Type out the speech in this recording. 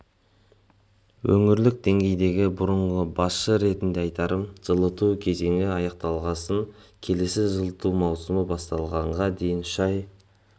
өңірлік деңгейдегі бұрынғы басшы ретінде айтарым жылыту кезеңі аяқталғасын келесі жылыту маусымы басталғанға дейін үш ай